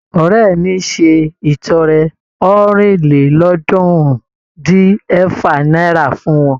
Ọ̀rẹ́ mi ṣe ìtọrẹ ọ̀rìnlélọ́ọ̀ọ́dúnrún-dín-ẹ̀fà náírà fún wọn.